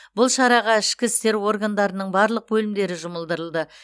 бұл шараға ішкі істер органдарының барлық бөлімдері жұмылдырылды